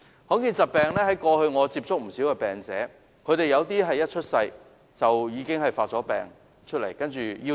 我過去曾接觸不少罕見疾病患者，有部分一出生時已經病發夭折。